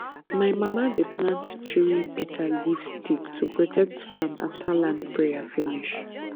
my mama dey plant three bitterleaf stick to protect farm after land prayer finish